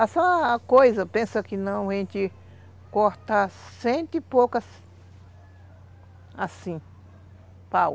A só coisa, pensa que não, a gente corta cento e poucas assim, pau.